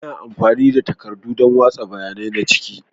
Ana amfani da takardu don watsa bayanai na ciki.